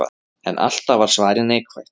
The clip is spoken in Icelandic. En alltaf var svarið neikvætt.